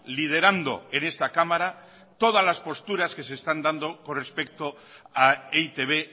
liderando en esta cámara todas las posturas que se están dando con respecto a e i te be